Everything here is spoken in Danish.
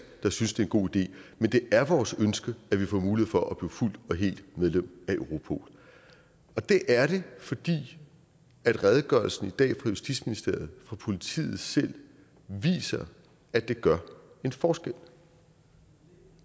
der synes det en god idé men det er vores ønske at vi får mulighed for at blive fuldt og helt medlem af europol det er det fordi redegørelsen i dag fra justitsministeriet fra politiet selv viser at det gør en forskel